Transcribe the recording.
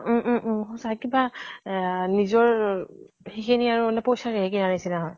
উম উম উম সঁচা কিবা আ নিজৰ ৰ সেইখিনি আৰু পইচাৰেহে কিনা নিছিনা হয়।